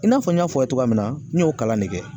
I n'a fɔ n y'a fɔ aw ɲɛna cogoya min na n y'o kalan de kɛ.